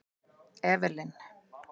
Evelyn